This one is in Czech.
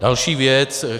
Další věc.